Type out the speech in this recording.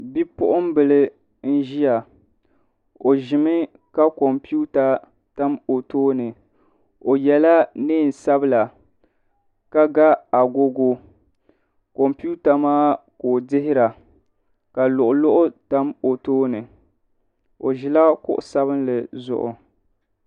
Bipuunbil n ʒiya o ʒimi ka kompiuta tam o tooni o yɛla neen sabila ka ga agogo kompiuta maa ka o dihira ka luɣu luɣu tam o tooni o ʒila kuɣu sabinli zuɣu